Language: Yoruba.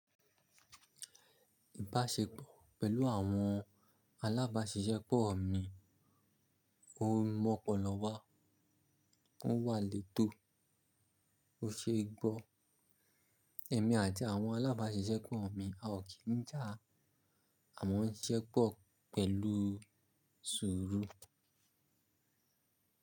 Ìbáṣepọ̀ pẹ̀lú àwọn alábáṣiṣẹ́pọ̀ mi, ó mọ́ pọ̀lọ wá, ó wà létò, ó ṣeé gbọ́. Èmi àti àwọn alábáṣiṣẹ́pọ̀ mi a ò kí ń jà, àmọ́ ń ṣisẹ́pọ̀ pẹ̀lú sùúrù.